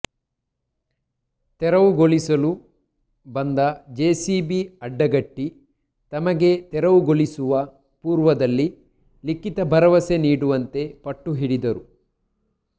ತೆರವುಗೊಳಿಸಲು ಬಂದ ಜೆಸಿಬಿ ಅಡ್ಡಗಟ್ಟಿ ತಮಗೆ ತೆರವುಗೊಳಿಸುವ ಪೂರ್ವದಲ್ಲಿ ಲಿಖಿತ ಭರವಸೆ ನೀಡುವಂತೆ ಪಟ್ಟು ಹಿಡಿದರು